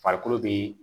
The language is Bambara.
Farikolo bee